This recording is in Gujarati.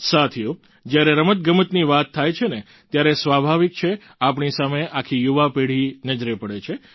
સાથીઓ જ્યારે રમતગમતની વાત થાય છે ને ત્યારે સ્વાભાવિક છે આપણી સામે આખી યુવા પેઢી નજરે પડે છે